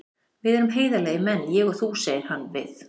Því við erum heiðarlegir menn, ég og þú, segir hann við